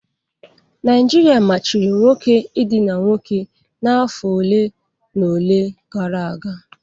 Naijiria machiri nwoke idina nwoke n'afọ ole na ole gara aga.